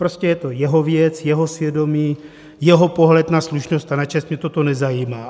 Prostě je to jeho věc, jeho svědomí, jeho pohled na slušnost a na čest, mě toto nezajímá.